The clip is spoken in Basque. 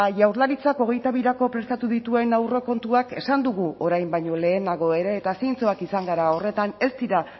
jaurlaritzak hogeita birako prestatu dituen aurrekontuak esan dugu orain baino lehenago ere eta zintzoak izan gara horretan ez dira